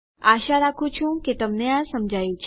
આશા રાખું છું તમને આ સમજાયું છે